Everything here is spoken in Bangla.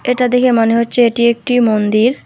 এটা দেখে মনে হচ্ছে এটি একটি মন্দির।